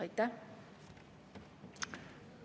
Aitäh!